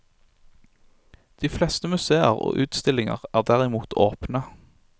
De fleste museer og utstillinger er derimot åpne.